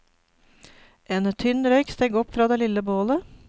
En tynn røyk steg opp fra det lille bålet.